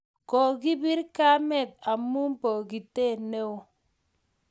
kokibir kamet amu bokitee neoo